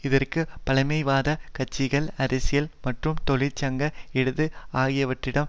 இதற்கு பழமைவாத கட்சிகள் அரசியல் மற்றும் தொழிற்சங்க இடது ஆகியவற்றிடம்